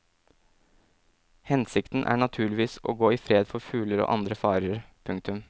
Hensikten er naturligvis å gå i fred for fugler og andre farer. punktum